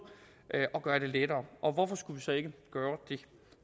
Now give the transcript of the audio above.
at gøre det lettere og hvorfor skulle vi så ikke gøre det